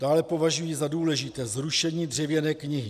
Dále považuji za důležité zrušení dřevěné knihy.